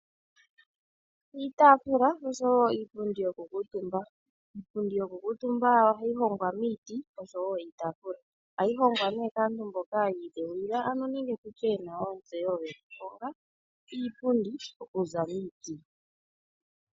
Iitaafula nosho wo iipundi yokukuutumba. Iipundi yokukuutumba ohayi hongwa miiti oshowo iitaafula. Ohayi hongwa nee kaantu mboka yi idheulila nenge ano tu tye ye na ontseyo yokuhonga iipundi okuza miiti.